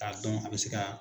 K'a dɔn a bɛ se ka